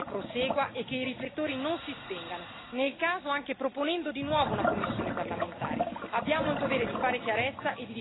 Ecco perché è importante che la discussione prosegua e che i riflettori non si spengano, nel caso anche proponendo di nuovo una commissione parlamentare.